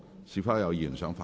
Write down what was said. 是否有議員想發言？